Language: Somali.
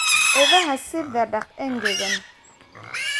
Idaha sida daaq engegan.